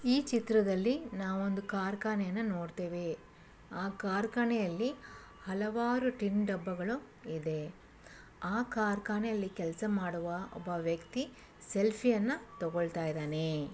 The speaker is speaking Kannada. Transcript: ಈ ಚಿತ್ರದಲ್ಲಿ ನಾವ್ ಒಂದು ಕಾರ್ಖಾನೆಯನ್ನ ನೋಡ್ತೇವೆ ಆ ಕಾರ್ಖಾನೆಯಲ್ಲಿ ಹಲವಾರು ಟಿನ್ ಡಬ್ಬಗಳು ಇದೆ ಆ ಕಾರ್ಖಾನೆಯಲ್ಲಿ ಕೆಲ್ಸ ಮಾಡುವ ಒಬ್ಬ ವ್ಯಕ್ತಿ ಸೆಲ್ಫಿ ಯನ್ನ ತಗೊಳ್ತಾ ಇದ್ದಾನೇ.